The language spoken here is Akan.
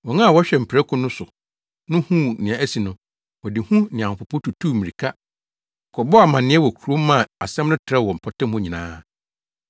Wɔn a wɔhwɛ mprako no so no huu nea asi no, wɔde hu ne ahopopo tutuu mmirika kɔbɔɔ amanneɛ wɔ kurom maa asɛm no trɛw wɔ mpɔtam hɔ nyinaa.